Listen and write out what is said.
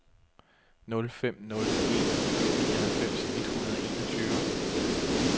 nul fem nul en nioghalvfems et hundrede og enogtyve